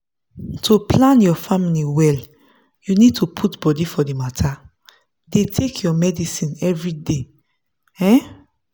to plan your family well you need to put body for the matter. dey take your medicines everyday. um